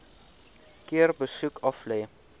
keer besoek aflê